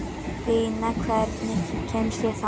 Bína, hvernig kemst ég þangað?